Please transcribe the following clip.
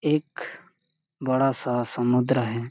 एख बड़ा -सा समुद्र हैं।